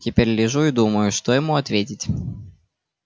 теперь лежу и думаю что ему ответить